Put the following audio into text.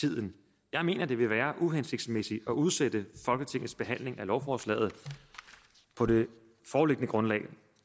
tiden jeg mener at det vil være uhensigtsmæssigt at udsætte folketingets behandling af lovforslaget på det foreliggende grundlag